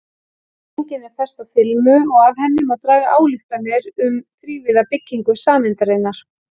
Dreifingin er fest á filmu og af henni má draga ályktanir um þrívíða byggingu sameindarinnar.